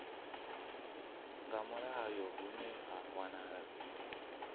nga mulayo hune ha wanala